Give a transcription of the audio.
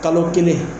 Kalo kelen